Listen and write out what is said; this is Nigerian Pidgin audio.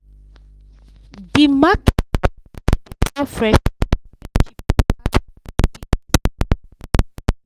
the market for area dey sell fresh food way cheaper pass the big big supermarket